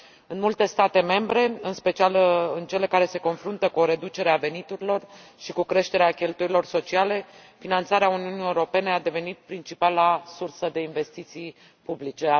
În multe state membre, în special în cele care se confruntă cu o reducere a veniturilor și cu creșterea cheltuielilor sociale, finanțarea Uniunii Europene a devenit principala sursă de investiții publice.